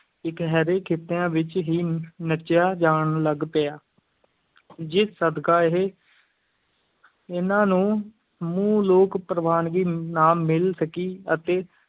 ਇਕਹਿਰੇ ਖਿੱਤਿਆਂ ਵਿੱਚ ਹੀ ਨੱਚਿਆ ਜਾਣ ਲੱਗ ਪਿਆ ਜਿਸ ਸਦਕਾ ਇਹ ਇਹਨਾਂ ਨੂੰ ਸਮੂਹ ਲੋਕ ਪ੍ਰਵਾਨਗੀ ਨਾ ਮਿਲ ਸਕੀ ਅਤੇ